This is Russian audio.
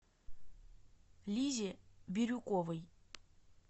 лизе бирюковой